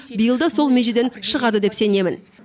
биыл да сол межеден шығады деп сенемін